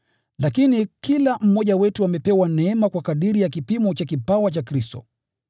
Lakini kila mmoja wetu amepewa neema kwa kadiri ya kipimo cha kipawa cha Kristo.